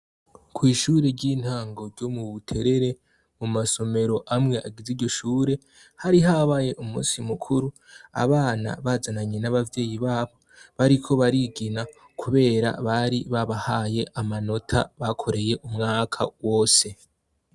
Kw'ishure ry'intango ryo mu Buterere, mu masomero amwe agize iryo shure, hari habaye umusi mukuru, abana bazananye n'abavyeyi babo bariko barigina kubera bari babahaye amanota bakoreye umwaka wose.